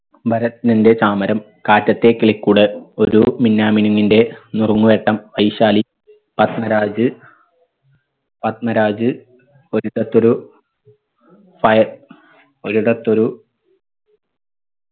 ഭാര്തനന്റെ താമരം കാറ്റത്തെ കിളിക്കൂട് ഒരു മിഞ്ഞാമിനുങ്ങിന്റെ നിർമുഴക്കം വൈശാലി പത്മരാജ് പത്മരാജ് ഒരിടത്തൊരു പയ ഒരിടത്തൊരു